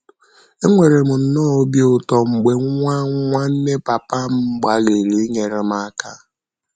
Enwere m nnọọ obi ụtọ mgbe nwa nwanne papa m gbalịrị inyere m aka.